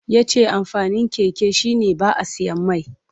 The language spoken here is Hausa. Ya ce amfanin keke shi ne ba a siyan mai.